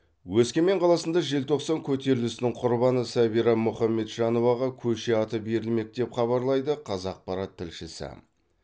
өскемен қаласында желтоқсан көтерілісінің құрбаны сәбира мұхамеджановаға көше аты берілмек деп хабарлайды қазақпарат тілшісі